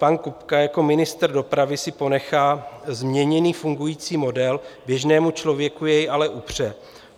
Pan Kupka jako ministr dopravy si ponechává změněný fungující model, běžnému člověku jej ale upře.